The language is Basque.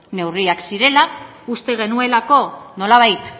neurriak zirela uste genuelako nolabait